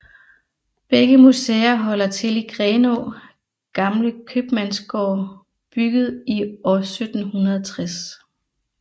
Begge museer holder til i Grenaa Gamle Købmandsgård bygget i år 1760